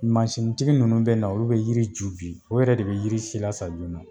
Masi tigi ninnu be na olu be yiri ju bi o yɛrɛ de be yiri si lasa joona